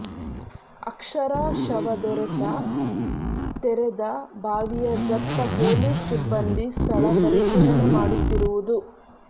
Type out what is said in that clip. ಅಕ್ಷರಾ ಶವ ದೊರೆತ ತೆರೆದ ಬಾವಿಯ ಜತ್ತ ಪೋಲೀಸ್ ಸಿಬ್ಬಂದಿ ಸ್ಥಳ ಪರಿಶೀಲನೆ ಮಾಡುತ್ತಿರುವುದು